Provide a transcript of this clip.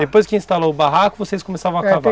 Depois que instalou o barraco, vocês começavam a cavar?